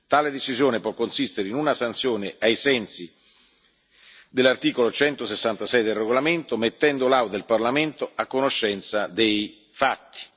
Tale decisione può consistere in una sanzione, ai sensi dell'articolo 166 del regolamento, mettendo l'Aula del Parlamento a conoscenza dei fatti.